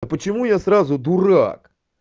почему я сразу дурак